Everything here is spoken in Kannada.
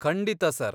ಖಂಡಿತ, ಸರ್.